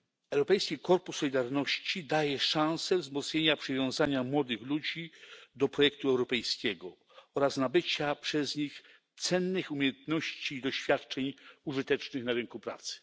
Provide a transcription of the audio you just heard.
Europejski Korpus Solidarności daje szansę wzmocnienia przywiązania młodych ludzi do projektu europejskiego oraz nabycia przez nich cennych umiejętności i doświadczeń użytecznych na rynku pracy.